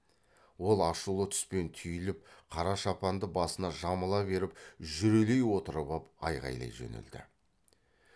ол ашулы түспен түйіліп қара шапанды басына жамыла беріп жүрелей отырып ап айғайлай жөнелді